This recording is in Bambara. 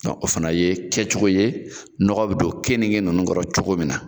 Dɔnku o fana ye kɛcogo nɔgɔ bɛ don keninke ninnu kɔrɔ cogo min na.